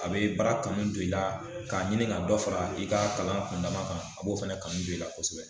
A be baara kanu don i la, ka ɲini ka dɔ fara i ka kalan kundama kan a b'o fɛnɛ kanu don i la kosɛbɛ.